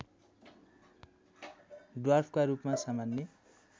ड्वार्फका रूपमा सामान्य